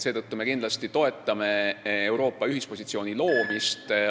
Seetõttu me kindlasti toetame Euroopa ühispositsiooni loomist.